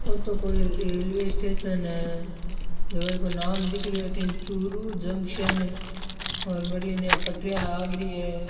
ओ तो कोई रेलवे स्टेशन है झक को नाम दिख रो है अठन चूरू जंक्शन और बढ़िया ने पटरियां लाग री है।